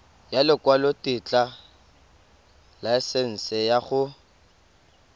ya lekwalotetla laesense ya go